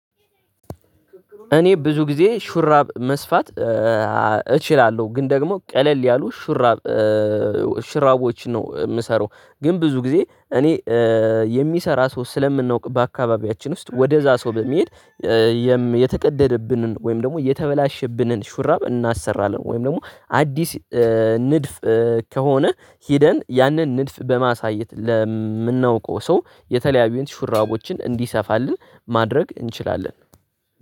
እኔ ብዙ ጊዜ ሹራብ መስፋት እችላለሁ ግን ደግሞ ቀለል ያሉ ሹራብ ሽራቦች ነው የምሰራው። ግን ብዙ ጊዜ እኔ የሚሰራ ሰው ስለምናውቅ በአካባቢያችን ውስጥ ወደዛ ሰው በሚሄድ። የተቀደደብንን ወይም ደግሞ የተበላሸብንን ሹራብ እናሰራለን ወይም ደግሞ አዲስ ንድፍ ከሆነ ሄደን ያንን ንድፍ በማሳየት ለምናውቀው ሰው የተለያዩን ሹራቦችን እንዲሰፋልን ማድረግ እንችላለን